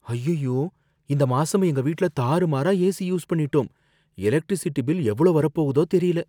அய்யய்யோ, இந்த மாசம் எங்க வீட்ல தாறுமாறா ஏசி யூஸ் பண்ணிட்டோம், எலக்ட்ரிசிட்டி பில் எவ்ளோ வரப் போகுதோ தெரியல.